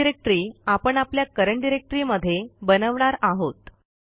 ही directory आपण आपल्या current directory मध्ये बनवणार आहोत